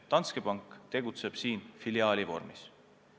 Danske Bank tegutseb siin filiaali vormis.